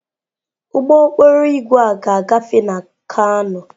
Ụgbọ okporo ígwè a ga-agafe na kano.